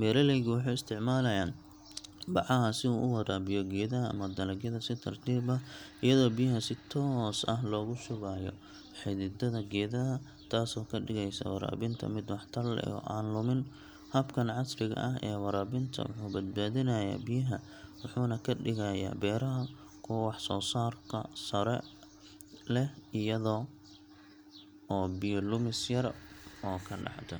Beeraleygu wuxuu isticmaalayaa bacaha si uu u waraabiyo geedaha ama dalagyada si tartiib ah, iyadoo biyaha si toos ah loogu shubayo xididada geedaha, taasoo ka dhigaysa waraabinta mid waxtar leh oo aan lumin. Habkan casriga ah ee waraabinta wuxuu badbaadinayaa biyaha, wuxuuna ka dhigayaa beeraha kuwo wax soo saarka sare leh, iyada oo biyo lumis yar oo ka dhacda.